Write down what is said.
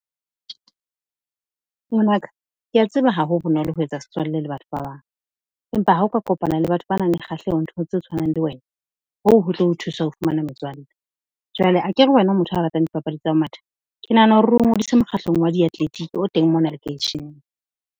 Ngwanaka ke a tseba ha ho bonolo ho etsa setswalle le batho ba bang, empa ha o ka kopana le batho ba nang le kgahleho nthong tse tshwanang le wena, hoo ho tlo o thusa ho fumana metswalle. Jwale akere wena o motho a ratang dipapadi tsa ho matha? Ke nahana hore o ngodise mokgahlong wa diatletiki o teng mona lekeisheneng.